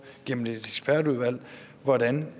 gennem et ekspertudvalg hvordan